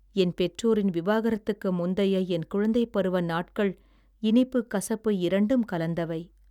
என் பெற்றோரின் விவாகரத்துக்கு முந்தைய என் குழந்தைப் பருவ நாட்கள் இனிப்பு கசப்பு இரண்டும் கலந்தவை